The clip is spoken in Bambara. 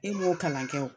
E m'o kalan kɛ o